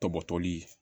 Tɔbɔtɔli